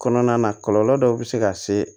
Kɔnɔna na kɔlɔlɔ dɔw bɛ se ka se